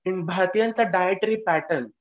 भारतीयांचा dietary pattern